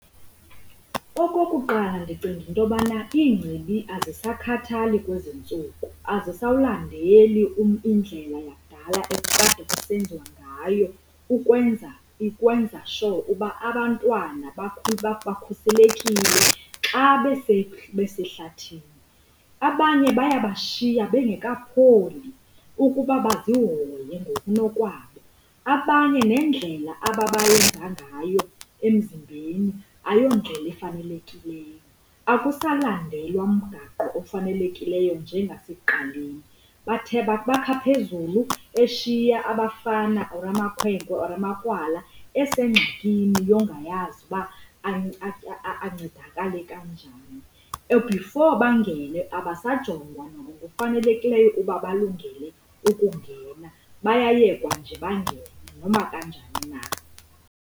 Okokuqala, ndicinga into yobana iigcibi azisakhathali kwezi ntsuku, azisawulandeli indlela yakudala ekukade kusenziwa ngayo ukwenza sure uba abantwana bakhuselekile xa besehlathini. Abanye bayebashiya bengekapholi ukuba bazihoye ngokunokwabo. Abanye nendlela ababayenza ngayo emzimbeni ayondlela efanelekileyo. Akusalandelwa mgaqo ofanelekileyo njengesekuqaleni. Bakha phezulu eshiya abafana or amakhwenkwe or ukrwala esengxakini yongayazi uba ancedakale kanjani. Before bangene abasajongwa nangokufanelekileyo ukuba bakulungele ukungena bayayekwa nje bangene noma kanjani na.